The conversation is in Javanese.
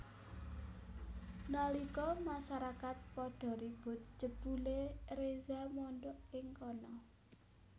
Nalika masarakat padha ribut jebulé Reza mondhok ing kana